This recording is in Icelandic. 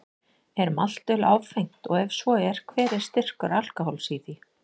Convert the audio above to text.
Er maltöl áfengt og ef svo er, hver er styrkur alkóhóls í því?